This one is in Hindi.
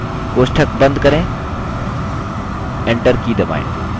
कोष्ठक बंद करें enter की दबाएँ